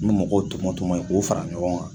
N bɛ mɔgɔw tɔmɔ tɔmɔ k'o fara ɲɔgɔn kan